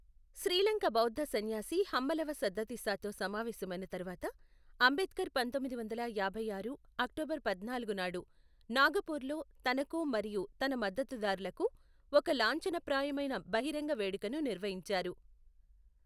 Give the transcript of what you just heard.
శ్రీలంక బౌద్ధ సన్యాసి హమ్మలవ సద్దతిస్సాతో సమావేశమైన తరువాత, అంబేడ్కర్ పంతొమ్మిది వందల యాభై ఆరు అక్టోబరు పద్నాలుగు నాడు, నాగపూర్లో తనకు మరియు తన మద్దతుదారులకు ఒక లాంఛనప్రాయమైన బహిరంగ వేడుకను నిర్వహించారు.